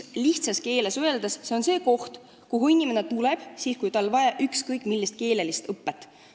Lihtsas keeles öeldes on see koht, kuhu inimene tuleb, kui tal on vaja ükskõik millist keeleõpet.